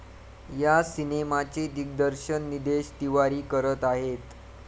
या सिनेमाचे दिग्दर्शन निदेश तिवारी करत आहेत.